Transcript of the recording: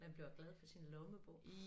Man bliver glad for sin lommebog